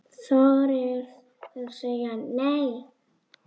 Þorið að segja NEI!